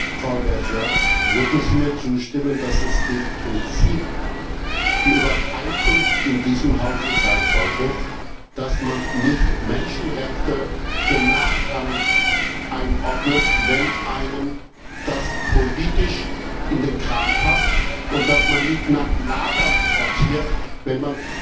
Frau Vergiat, würden Sie mir zustimmen, dass es im Prinzip die Übereinkunft in diesem Hause sein sollte, dass man nicht Menschenrechte als nachrangig einordnet, wenn einem das politisch in den Kram passt, und dass man nicht nach Lagern sortiert, wenn